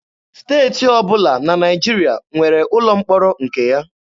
Steeti ọbụla na Naịjirịa nwere ụlọ mkpọrọ nke ya.